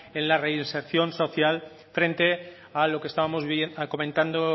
en la reinserción social frente a lo que estábamos comentando